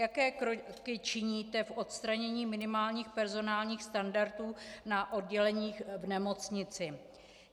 Jaké kroky činíte k odstranění minimálních personálních standardů na odděleních v nemocnici?